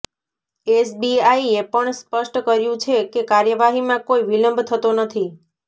એસબીઆઈએ પણ સ્પષ્ટ કર્યું છે કે કાર્યવાહીમાં કોઈ વિલંબ થતો નથી